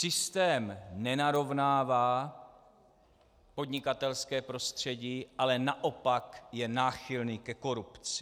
Systém nenarovnává podnikatelské prostředí, ale naopak je náchylný ke korupci.